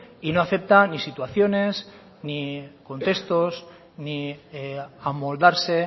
y no acepta ni situaciones ni contextos ni amoldarse